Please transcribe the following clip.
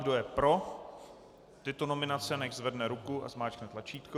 Kdo je pro tyto nominace, nechť zvedne ruku a zmáčkne tlačítko.